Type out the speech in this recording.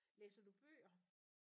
Læser du bøger?